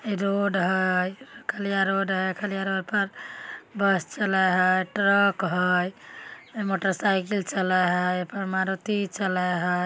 Road हय। Khaliya road है। Khaliya road पर बस चले हय। ट्रक हय मोटरसाइकिल चले हय। ए पर मारुती चलय हय।